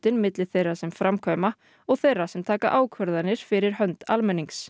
á milli þeirra sem framkvæma og þeirra sem taka ákvarðanir fyrir hönd almennings